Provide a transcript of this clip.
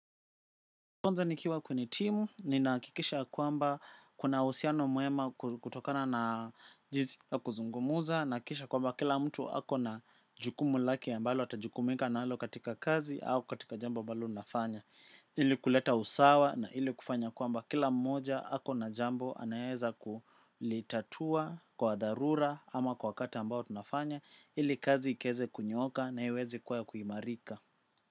Kwanza nikiwa kwenye timu, ninahakikisha ya kwamba kuna uhusiano mwema kutokana na kuzungumza. Na kisha kwamba kila mtu ako na jukumu lake ya mbalo atajukumika na alo katika kazi au katika jambo mbalo nafanya. Ili kuleta usawa na ili kufanya kwamba kila mmoja ako na jambo anaweza kulitatua kwa darura ama kwa wakati ambao tunafanya. Ili kazi iwezekunyooka na iwezi kuwa ya kuimarika.